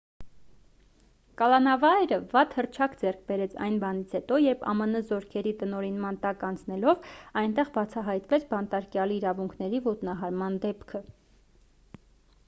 կալանավայրը վատ հռչակ ձեռք բերեց այն բանից հետո երբ ամն զորքերի տնօրինման տակ անցնելով այնտեղ բացահայտվեց բանտարկյալի իրավունքների ոտնահարման դեպքը